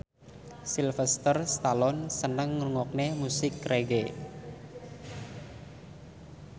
Sylvester Stallone seneng ngrungokne musik reggae